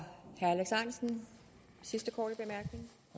seks